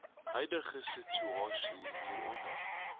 huidige situasie hieronder